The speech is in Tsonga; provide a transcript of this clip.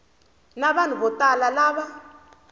na vanhu vo tala lava